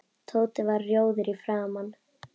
Tóti varð rjóður í framan.